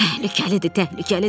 Təhlükəlidir, təhlükəlidir.